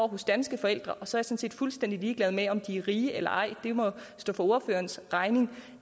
hos danske forældre og så er set fuldstændig ligeglad med om de er rige eller ej det må stå for ordførerens egen